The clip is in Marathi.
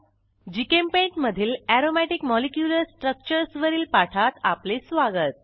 जीचेम्पेंट मधील अरोमॅटिक मॉलिक्युलर स्ट्रक्चर्स वरील पाठात आपले स्वागत